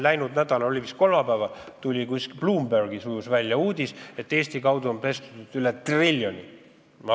Läinud nädalal, vist kolmapäeval, ujus Bloombergis välja uudis, et Eesti kaudu on pestud üle triljoni euro.